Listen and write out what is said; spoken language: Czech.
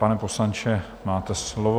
Pane poslanče, máte slovo.